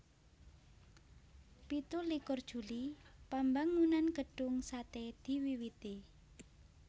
Pitu likur Juli Pambangunan Gedung Sate diwiwiti